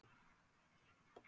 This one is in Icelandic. Siglt eftir sjávarstöðu